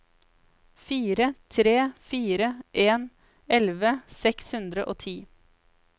fire tre fire en elleve seks hundre og ti